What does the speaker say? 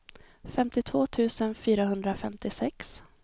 femtiotvå tusen fyrahundrafemtiosex